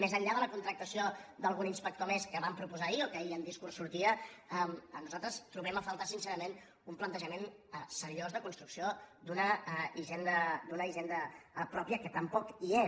més enllà de la contractació d’algun inspector més que van proposar ahir o que ahir en discurs sortia nosaltres trobem a faltar sincerament un plantejament seriós de construcció d’una hisenda pròpia que tampoc hi és